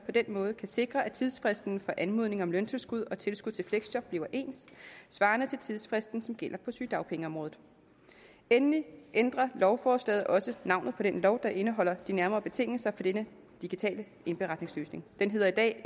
på den måde kan sikre at tidsfristen for anmodning om løntilskud og tilskud til fleksjob bliver ens svarende til tidsfristen som gælder på sygedagpengeområdet endelig ændrer lovforslaget også navnet på den lov der indeholder de nærmere betingelser for denne digitale indberetningsløsning den hedder i dag